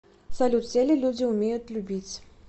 салют все ли люди умеют любить